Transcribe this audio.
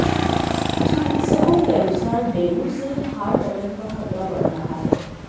चिकित्सकों के अनुसार डेंगू से हार्ट अटैक का खतरा बढ़ रहा है